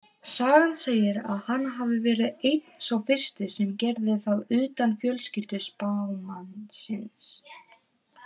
Sagan segir að hann hafi verið einn sá fyrsti sem gerði það utan fjölskyldu spámannsins.